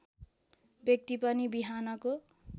व्यक्ति पनि बिहानको